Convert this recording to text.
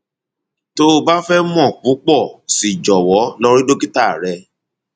tó o bá fẹ mọ púpọ sí i jọwọ lọ rí dókítà rẹ